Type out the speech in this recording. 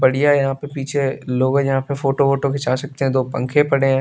बड़ीया है यहां पे पीछे लोग है जहां पे फोटो वोटो घिंचा सकते हैं दो पंखे पडे हैं।